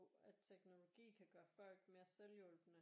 At teknologi kan gøre folk mere selvhjulpne